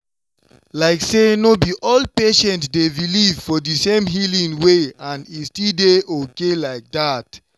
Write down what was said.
like say no be all patients dey believe for the same healing way and e still dey okay like that.